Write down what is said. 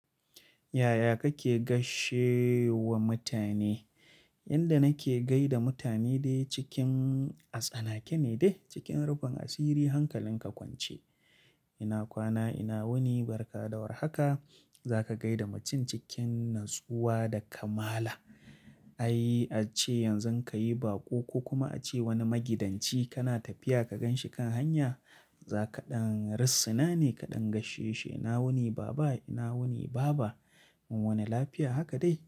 Yaya kake gaishe wa mutane? Yanda nake gaida mutane dai cikin a tsanake ne dai cikin rufin asiri hankalin ka kwance. Ina kwana, ina wuni, baraka da warhaka za ka gaida mutum cikin natsuwa da kamala. Ai ace yanzu ka yi baƙo ko kuma ace wani magidanci kana tafiya ka gan shi kan hanya za kaɗan rissina ne kaɗan gaisheshi. Ina wuni baba, ina wuni baba. Mun wuni lafiya haka dai.